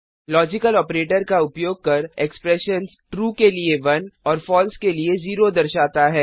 logical operator का उपयोग कर एक्सप्रेशंस ट्रू के लिए 1 और फलसे के लिए 0 दर्शाता है